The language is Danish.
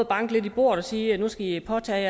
banke lidt i bordet og sige at nu skal de påtage